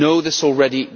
You know this already.